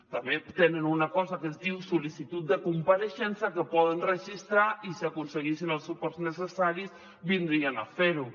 també tenen una cosa que es diu sol·licitud de compareixença que poden registrar i si aconseguissin els suports necessaris vindrien a fer ho